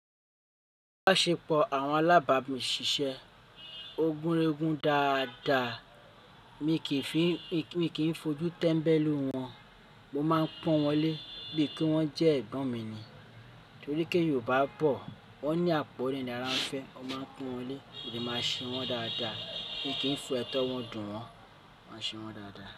Ìbáṣepọ̀ àwọn alábàámi ṣiṣẹ́ ogúnregún dáadáa, mí kìí fi n, mii k, míi kì n fojú tẹ́mbẹ́lú wọn, mo máa ń pọ́n wọn lé bíi kí wọ́n jẹ́ ẹ̀gbọ́n mi. Torí ké Yorùbá bọ̀, wọ́n ní àpọ́nle ni àrà ń fẹ́, mó máa ń pọ́n wọn lé, mó dẹ̀ máa ń ṣe wọ́n dáadáa, mi kì n so ẹtọ wọ̀n dùn wọn, mo máa ń ṣe wọ́n dáadáa.